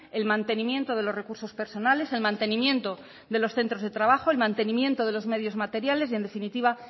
el mantenimiento de los recursos personales el mantenimiento de los centros de trabajos el mantenimiento de los medios materiales y en definitiva